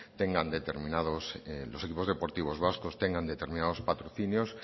tengan determinados los equipos deportivos vascos tengan determinados patrocinios